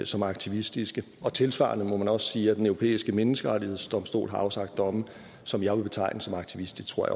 som aktivistiske og tilsvarende må man også sige at den europæiske menneskerettighedsdomstol har afsagt domme som jeg ville betegne som aktivistiske